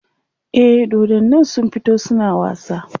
e dodannin sun fito suna wasa